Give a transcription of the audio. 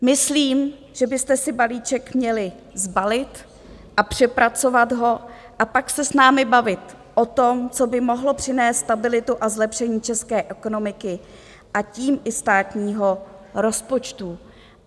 Myslím, že byste si balíček měli sbalit a přepracovat ho a pak se s námi bavit o tom, co by mohlo přinést stabilitu a zlepšení české ekonomiky a tím i státního rozpočtu.